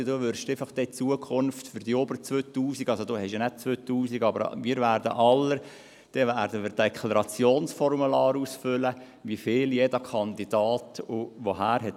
Lieber Ruedi Löffel, für die über 2000 Franken – beziehungsweise sie haben ja keine 2000 Franken – werden wir alle ein Deklarationsformular ausfüllen und aufzeigen, woher jeder Kandidat wie viel erhalten hat.